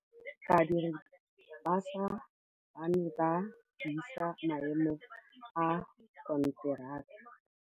Badiri ba baša ba ne ba buisa maêmô a konteraka.